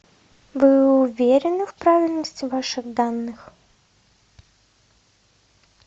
вы уверены в правильности ваших данных